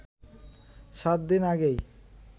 সাত দিন আগেই